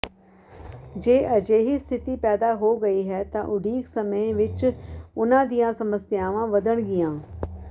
ਜੇ ਅਜਿਹੀ ਸਥਿਤੀ ਪੈਦਾ ਹੋ ਗਈ ਹੈ ਤਾਂ ਉਡੀਕ ਸਮੇਂ ਵਿੱਚ ਉਨ੍ਹਾਂ ਦੀਆਂ ਸਮੱਸਿਆਵਾਂ ਵਧਣਗੀਆਂ